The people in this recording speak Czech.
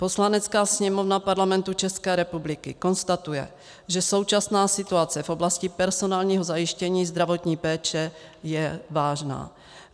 "Poslanecká sněmovna Parlamentu České republiky konstatuje, že současná situace v oblasti personálního zajištění zdravotní péče je vážná.